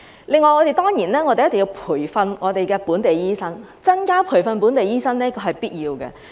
此外，我們一定要培訓本地醫生，增加培訓本地醫生是必要的。